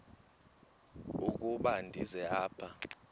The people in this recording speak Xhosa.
ukuba ndize apha